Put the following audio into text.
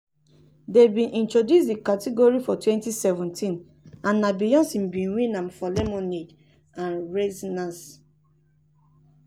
dem bin introduce di category for 2017 and na beyonce bin win am for lemonade and renaissance.